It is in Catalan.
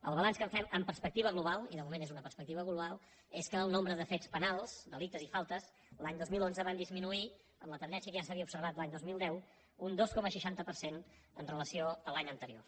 el balanç que en fem amb perspectiva global i de moment és una perspectiva global és que el nombre de fets penals delictes i faltes l’any dos mil onze van disminuir amb la tendència que ja s’havia observat l’any dos mil deu un dos coma seixanta per cent amb relació a l’any anterior